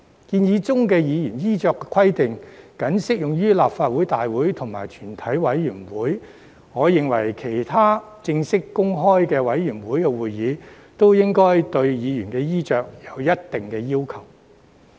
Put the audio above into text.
建議的議員衣飾規定僅適用於立法會大會及全體委員會，我認為其他正式和公開的委員會會議，亦應該對議員衣飾有一定的要求。